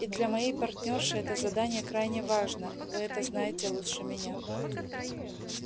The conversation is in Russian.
и для моей партнёрши это задание крайне важно вы это знаете лучше меня